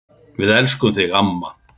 Við elskum þig amma.